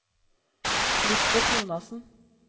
Lisbet Jonassen